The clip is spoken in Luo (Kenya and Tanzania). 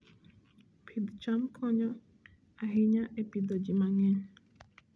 Pidh cham konyo ahinya e pidho ji mang'eny.